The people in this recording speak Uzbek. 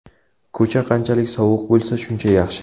Ko‘cha qanchalik sovuq bo‘lsa, shuncha yaxshi.